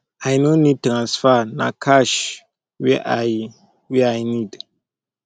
abeg i no need transfer na cash wey i wey i need